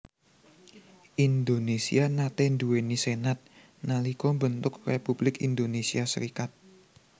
Indonésia nate nduweni senat nalika mbentuk Republik Indonésia Serikat